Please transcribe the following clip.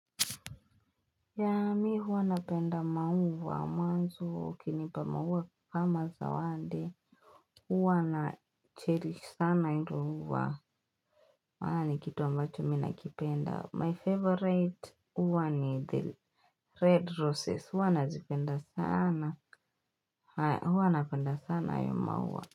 Yeah mimi huwa napenda maua mazuri ukiinipa maua kama zawadi huwa na cherry sana hilo ua maani ni kitu ambacho ninakipenda my favorite huwa ni the red roses huwa nazipenda sana huwa napenda sana hiyo maua.